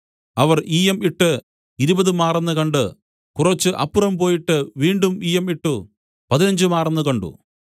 അവർ ഈയം ഇട്ട് ഇരുപത് മാറെന്ന് കണ്ട് കുറച്ച് അപ്പുറം പോയിട്ട് വീണ്ടും ഈയം ഇട്ട് പതിനഞ്ച് മാറെന്ന് കണ്ട്